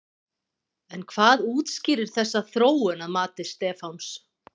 En hvað útskýrir þessa þróun að mati Stefáns?